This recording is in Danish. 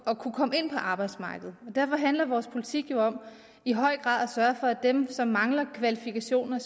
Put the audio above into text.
at kunne komme ind på arbejdsmarkedet derfor handler vores politik jo i høj grad sørge for at dem som mangler kvalifikationer